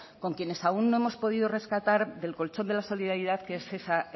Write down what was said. con quienes aún no hemos podido rescatar del colchón de la solidaridad que es esa